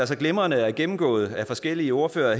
så glimrende er gennemgået af forskellige ordførere